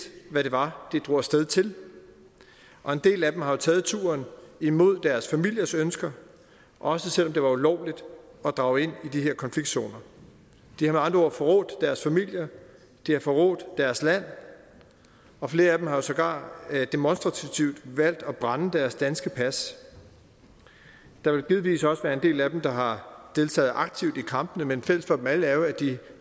hvad det var de drog af sted til og en del af dem har jo taget turen imod deres familiers ønske også selv om det var ulovligt at drage ind i de her konfliktzoner de har med andre ord forrådt deres familier de har forrådt deres land og flere af dem har jo sågar demonstrativt valgt at brænde deres danske pas der vil givetvis også være en del af dem der har deltaget aktivt i kampene men fælles for dem alle er jo at de